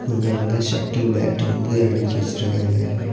இங்க வந்து shuttle bat வந்து அடிக்கி வச்சிருக்காங்க.